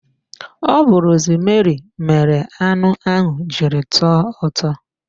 Ọ bu rosmeri mere anụ ahụ jiri tọọ ụtọ